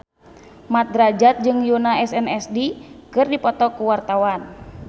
Mat Drajat jeung Yoona SNSD keur dipoto ku wartawan